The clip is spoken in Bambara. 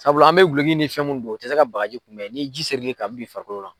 Sabula an bɛ guloki ni fɛn min don a tɛ se ka bagaji kunbɛ ni ji seri l'i kan a bi don i farikolo la.